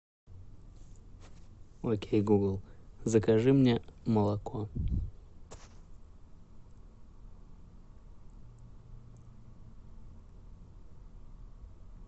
окей гугл закажи мне молоко